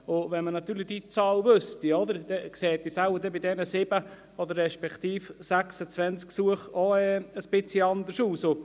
Wenn man diese Zahl kennen würde, sähe es bei diesen 7 beziehungsweise bei diesen 26 Gesuchen wohl etwas anders aus.